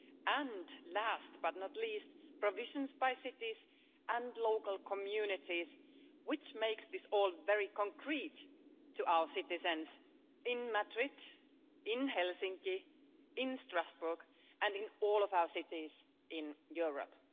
and, last but not least, provisions by cities and local communities, which makes this all very concrete to our citizens in Madrid, in Helsinki, in Strasbourg, and in all of our cities in Europe.